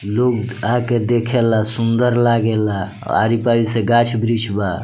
लोग आके देखेला सुन्दर लागेला आरी-पारी से गाछ वृक्ष बा।